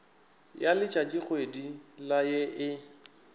ya letšatšikgwedi la ye e